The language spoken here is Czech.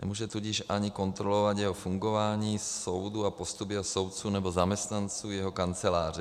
Nemůže tudíž ani kontrolovat jeho fungování, soudu, a postup jeho soudců nebo zaměstnanců jeho kanceláře.